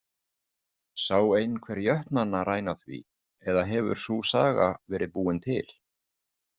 Sá einhver jötnana ræna því eða hefur sú saga verið búin til?